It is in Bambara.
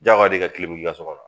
Jagoya don i ka kilimu k'i ka sokɔnɔ a